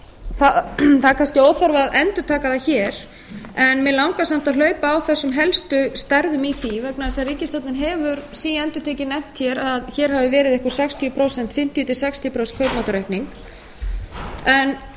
það er kannski óþarfi að endurtaka það hér en mig langar samt að hlaupa á þessum helstu stærðum í því vegna þess að ríkisstjórnin hefur síendurtekið nefnt hér að hér hafi verið einhver fimmtíu til sextíu prósent kaupmáttaraukning